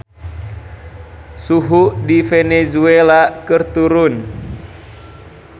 Suhu di Venezuela keur turun